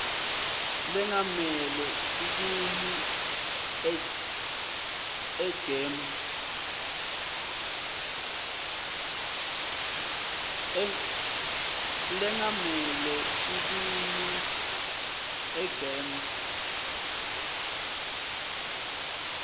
lengamele sikimu egems